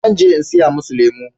zan je in saya musu lemo